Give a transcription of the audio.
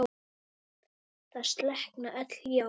Það slokkna öll ljós.